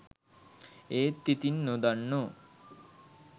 ඒත් ඉතින් නොදන්නෝ